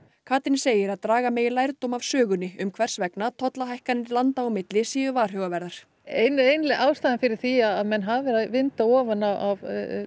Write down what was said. Katrín segir að draga megi lærdóm af sögunni um hvers vegna tollahækkanir landa á milli séu varhugaverðar ein ein ástæðan fyrir því að menn hafa verið að vinda ofan af